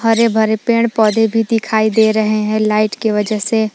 हरे भरे पेड़ पौधे भी दिखाई दे रहे हैं लाइट के वजह से।